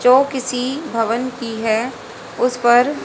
जो किसी भवन की है उस पर--